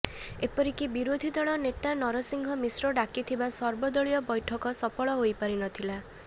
ଏପରିକି ବିରୋଧୀ ଦଳ ନେତା ନରସିଂହ ମିଶ୍ର ଡାକିଥିବା ସର୍ବଦଳୀୟ ବୈଠକ ସଫଳ ହୋଇପାରିନଥିଲା